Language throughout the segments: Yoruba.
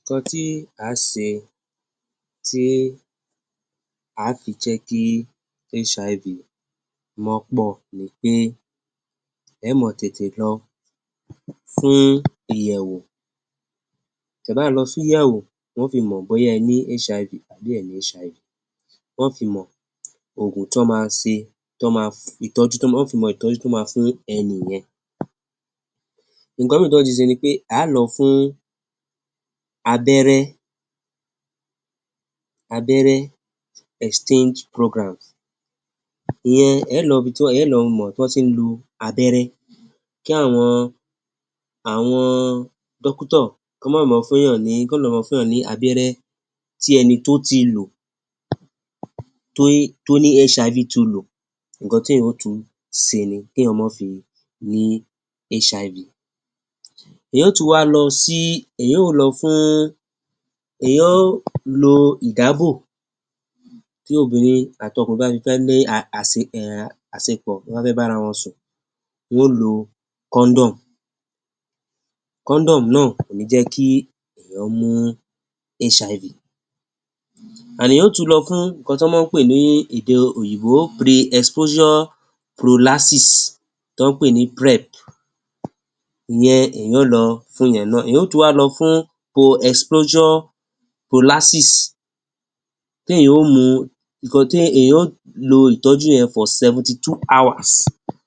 Ǹkan tí a ń ṣe tí a fi jẹ́ kí H-I-V pọ̀ ni pé ẹ mọ́ tété lọ fún ìyẹ̀wò. Tẹ́ bá lọ fún ìyẹ̀wò, wọ́n fi mọ bóyá ẹ ní HIV àbí ẹ ò ní H-I-V. Wọ́n fi mọ ogun tó máa ṣe, tó máa ìtọ́jú tó máa fìmọ́, ìtọ́jú tó máa fún ènìyàn. Ǹkan mìíràn tí ẹ̀nìkan ṣe ní pé, a lọ fún abẹ́rẹ́, abẹ́rẹ́ Exchange Programs. Ìyẹn ẹ lọ bí ti ẹ lọ mọ́ tó ti ń lu abẹ́rẹ́. Kí àwọn dókítà kó má ba mọ́ fún ẹnìyàn ní kọ́ lọ mọ́ fún ẹnìyàn ní abẹ́rẹ́ tí ẹnìkan tó ti lò, tó ní HIV ti lò. Ǹkan tí ẹ̀nìyàn ò tún ṣe ni ti ẹ̀nìyàn ò ń fi ní HIV. Ẹ̀nìyàn tún wá lọ sí—ẹ̀nìyàn ò lọ fún ẹ̀nìyàn ò lọ ìdàbọ̀ tí obìnrin àti ọkùnrin bá fi fẹ́ ní àsì—àṣepọ̀ wọn fẹ́ bára wọn sùn. Wọ́n ń lò kondom. Kondom náà ò ní jẹ́ kí ẹnìkan ní HIV. Àní ẹ̀nìyàn tún wá lọ fún ǹkan tó mọ̀, ń pè é ní èdè Òyìnbó Pre-Exposure Prophylaxis, tó ń pè é ní PrEP. Ìyẹn ẹ̀nìyàn ó lọ fún ẹ̀yìn náà. Ẹ̀yà tí wá lọ fún Pre-Exposure Prophylaxis tí ẹ̀nìyàn ó mú, ǹkan tí ẹ̀nìyàn tí ó lo ìtọ́jú yẹn fún seventy-two hours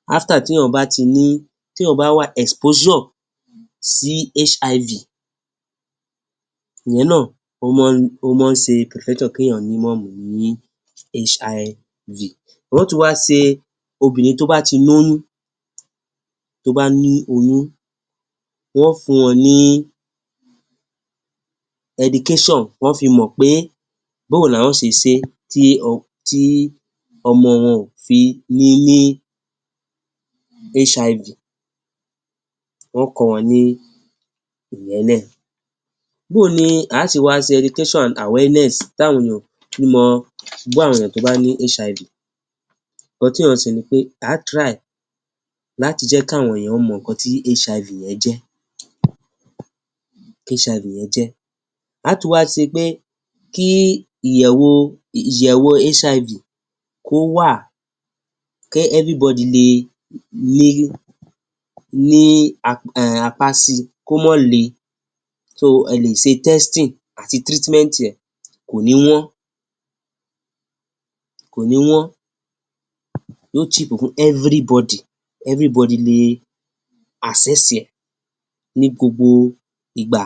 lẹ́yìn tí ẹ̀nìyàn bá ti ní—tí ẹ̀yin bá wà exposure sí HIV. Níyẹn náà ó mọ—ó mọ̀ ń ṣe kí ẹ̀yin má ní HIV. Wọ́n tún wá ṣe obìnrin tó bá ti lóyún, tó bá ní oyún, wọ́n fún wọn ní education, wọ́n fi mọ pé bó ni wọ́n ó ṣe é ṣe tí ọmọ wọn ò fi ní HIV. Wọ́n kọ́ wọn ní iyẹn náà. Bí ni a ti wá ṣe education awareness tàwọn èèyàn ní, mo gbọ́ àwọn èèyàn tó bá ní HIV. Ǹkan tí ẹ̀nìyàn sì ní pé, a try láti jẹ́ káwọn èèyàn mọ̀ ǹkan tí HIV ẹ jẹ́, HIV ẹ jẹ́. A tún wá sí wá pé kí ìyẹ̀wò, ìyẹ̀wò HIV wà, kí everybody lè ní ní apáàsì, kí ó mọ́ lé. Tó ẹ lè ṣe testing àti treatment, ẹ kò ní wọ́n, kò ní wọ́n. Yíó tì pọ̀ kù everybody, everybody lè access ẹ ní gbogbo ìgbà.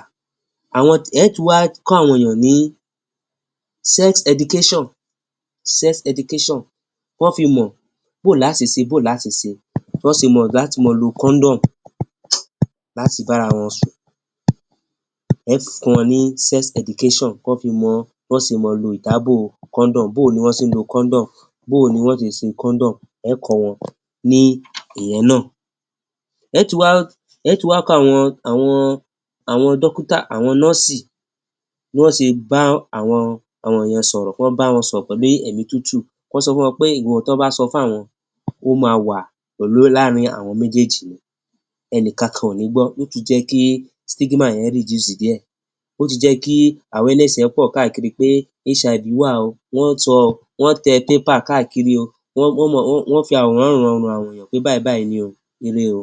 Àwọn ẹ tún wá kọ́ àwọn èèyàn ní sex education, sex education. Wọ́n fi mọ bó ṣe lè é, bó ṣe lè é. Wọ́n sì mọ láti mọ lò kondom, láti bára wọn sùn. Ẹ fún wọn ní sex education. Wọ́n fi mọ—wọ́n sì mọ̀ lù ìdàbọ̀ kondom. Bí ni wọ́n ṣe lò kondom, ẹ̀kan wọn ní iyẹn náà. Ẹ tún wá, ẹ tún wá kọ́ àwọn, àwọn, àwọn dókítà, àwọn nọ́sì, ní wọ́n sì bá àwọn, àwọn ẹ̀yin sọ̀rọ̀ pọ̀, ń bá wọn sọ pé èmí tútù. Wọ́n sọ̀ wọ́n pé ìwọ̀n tó bá sọ fún àwọn, wọ́n máa wà láàárín àwọn méjèèjì. Ẹnìkan kán ò ní gbọ́. Tí yó jẹ́ kí stigma ẹ reduce díẹ̀. Ó ti jẹ́ kí awareness ẹ pọ̀ káàkiri pé HIV wà o. Wọ́n tọ, wọ́n tẹ paper káàkiri o. Wọ́n mọ́—wọ́n fi àwòrán dájú pé àwọn èèyàn pé Bàbá Àní o, rere o.